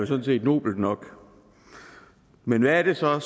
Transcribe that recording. sådan set nobelt nok men hvad er det så